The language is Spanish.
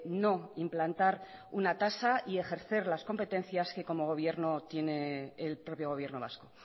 no implantar una tasa y ejercer las competencias que como gobierno tiene el propio gobierno vasco